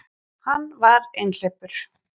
Hann var einhleypur.